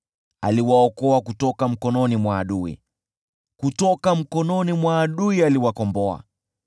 Aliwaokoa mikononi mwa adui; kutoka mikononi mwa adui aliwakomboa.